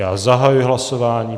Já zahajuji hlasování.